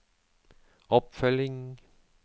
oppfølging